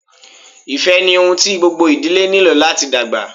Ifẹ ni ohun ti gbogbo idile nilo lati dagba.